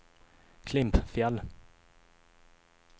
Klimpfjäll